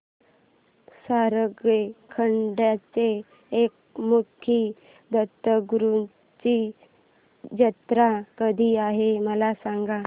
सारंगखेड्याच्या एकमुखी दत्तगुरूंची जत्रा कधी आहे मला सांगा